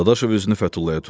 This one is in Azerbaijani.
Dadaşov üzünü Fətullaya tutdu.